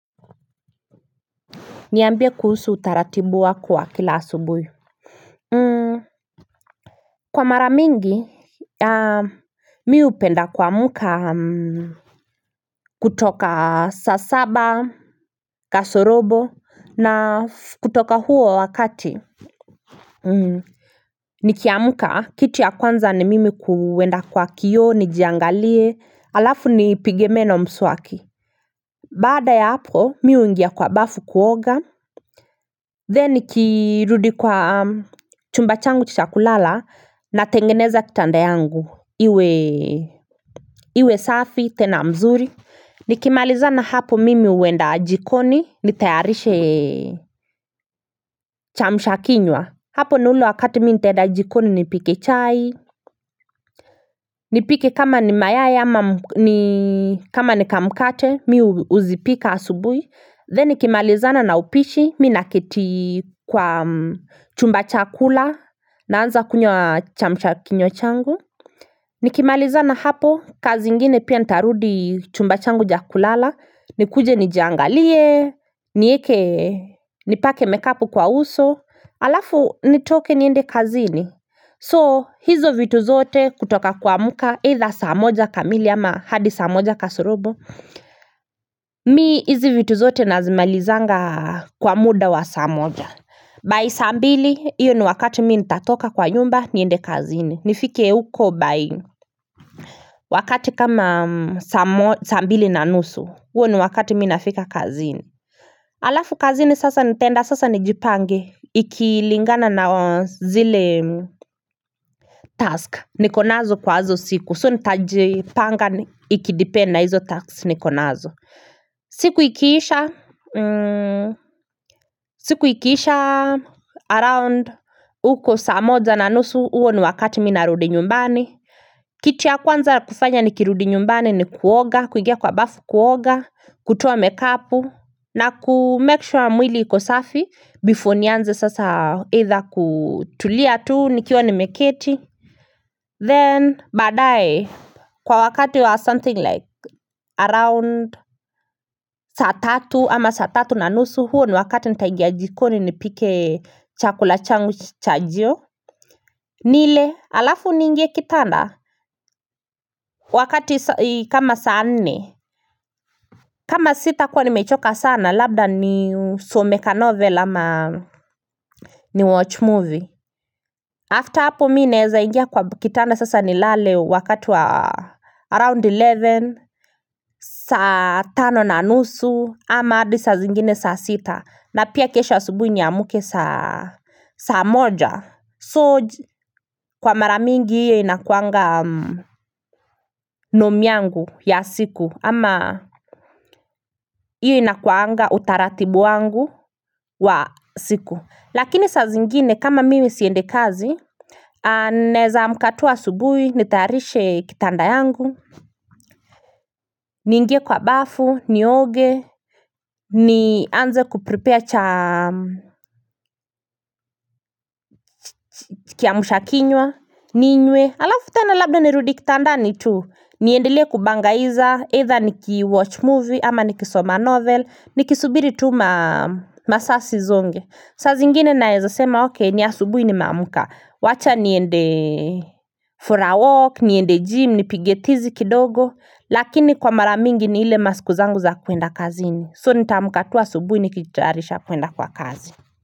Niambie kuhusu utaratibu wako wa kila asubuhi Kwa mara mingi mi hupenda kuamka kutoka saa saba kasorobo na kutoka huo wakati Nikiamka kitu ya kwanza ni mimi kuenda kwa kioo nijiangalie alafu nipige meno mswaki Baada ya hapo mi huingia kwa bafu kuoga then nikirudi kwa chumba changu cha kulala natengeneza kitanda yangu iwe iwe safi tena mzuri Nikimalizana hapo mimi huenda jikoni nitayarishe chamsha kinywa hapo ni ule wakati mi nitaenda jikoni nipike chai nipike kama ni mayai ama kama ni kamkate mi huzipika asubui then nikimalizana na upishi mi naketi kwa chumba cha kula naanza kunywa chamsha kinywa changu nikimalizana hapo kazi ingine pia nitarudi chumba changu cha kulala nikuje nijiangalie nieke nipake make up kwa uso alafu nitoke niende kazini so hizo vitu zote kutoka kuamka either saa moja kamili ama hadi saa moja kasorobo Mi hizi vitu zote nazimalizanga kwa muda wa saa moja By saa mbili hiyo ni wakati mi nitatoka kwa nyumba niende kazini nifike huko by wakati kama saa mbili na nusu huo ni wakati mi nafika kazini Alafu kazini sasa nitaenda sasa nijipange ikilingana na zile task niko nazo kwa izo siku so nitajipanga ikidepend na hizo task niko nazo siku ikiisha siku ikiisha around huko saa moja na nusu huo ni wakati mi narudi nyumbani Kitu ya kwanza ya kufanya nikirudi nyumbani ni kuoga kuigia kwa bafu kuoga kutoa mekapu na ku make sure mwili ikosafi before nianze sasa either kutulia tu nikiwa nimeketi Then baadae kwa wakati wa something like around saa tatu ama saa tatu na nusu huo ni wakati nitaingia jikoni nipike chakula changu chajio nile alafu niingie kitanda wakati kama saa nne kama sitakuwa nimechoka sana labda nisome kanovel ama ni watch movie after hapo mi naeza ingia kwa kitanda sasa nilale wakati wa around eleven saa tano na nusu ama hadi saa zingine saa sita na pia kesho asubuhi niamke saa moja So kwa mara mingi hiyo inakuwanga nome yangu ya siku ama hiyo inakuwanga utaratibu wangu wa siku Lakini saa zingine kama mimi siendi kazi naeza amka tu asubuhi nitayarishe kitanda yangu niingie kwa bafu nioge nianze kuprepare cha kiamsha kinywa ninywe alafu tena labda nirudi kitandani tu niendelee kubangaiza either niki watch movie ama nikisoma novel nikisubiri tu masaa zisonge saa zingine naeza sema okay ni asubuhi nimeamka wacha niendee for a walk niende gym nipige tizi kidogo lakini kwa mara mingi ni ile masiku zangu za kuenda kazini so nitaamka tu asubuhi nikitayarisha kuenda kwa kazi.